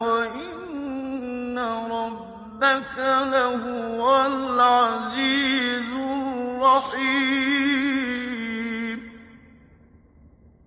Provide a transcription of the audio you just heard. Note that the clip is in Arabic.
وَإِنَّ رَبَّكَ لَهُوَ الْعَزِيزُ الرَّحِيمُ